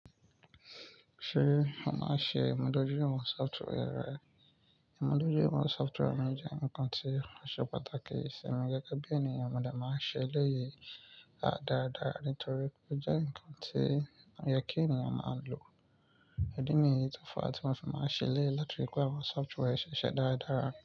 Ṣé mo máa ṣe ìmuda ju lori awọ̀n software rẹ? Ìmudojuìwọ̀n software mi jẹ́ nǹkan tí màá ṣe pàtàkì sì mí gẹ́gẹ́ bí ènìyàn. Mo dà máa ń ṣe léyìí dáradára nítorí pé ó jẹ́ nǹkan tí ọyẹ́ kí ènìyàn máa lò. Idí nìyí, tó fa tí mo fi máa ṣèléyí láti rí pé àwọn software ṣe ṣẹ dáradára.